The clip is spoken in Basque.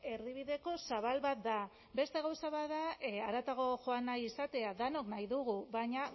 erdibideko zabal bat da beste gauza bat da haratago joan nahi izatea denok nahi dugu baina